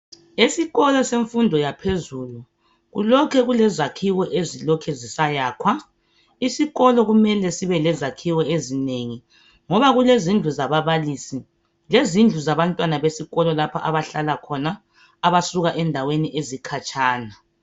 Esikolo semfundo yaphezulu kulokhe kulezakhiwo ezilokhu zisayakhwa isikolo kumele sibe lezakhiwo ezinengi ngoba kulezindlu zababalisi lezindlu zabantwana besikolo lapho abahlala khona abasuka endaweni ezikhatshana.